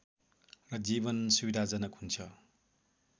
र जीवन सुविधाजनक हुन्छ